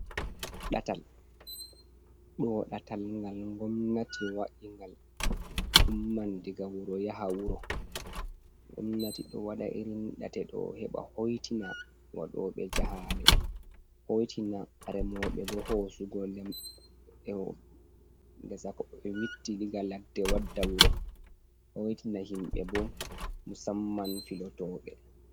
Ɗatal, ɗo ɗatal ngal Gomnati wa’ingal Umman diga wuro yaha wuro. Gomnati ɗo waɗa irin ɗate ɗo heɓa hoitina waɗoɓe jahale, hoitina remoɓe bo hosugo lem ewo ngesa ɓe witti diga Ladde wadda Wuro. hoitina himbe bo Musamman Filotoɓe.